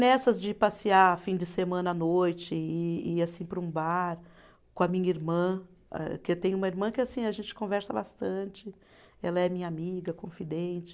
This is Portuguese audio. Nessas de passear fim de semana à noite, e ir assim para um bar com a minha irmã, âh que tem uma irmã que assim a gente conversa bastante, ela é minha amiga, confidente.